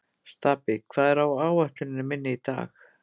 Stapi, hvað er á áætluninni minni í dag?